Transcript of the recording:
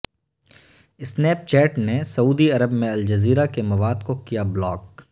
snap chat نے سعودی عرب میں الجزیرہ کے مواد کو کیا بلاک